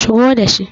Shigo da shi.